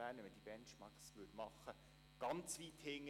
Bei diesen hinkt der Kanton Bern ganz weit hinterher.